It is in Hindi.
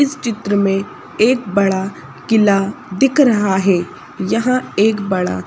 इस चित्र में एक बड़ा किला दिख रहा है यहां एक बड़ा--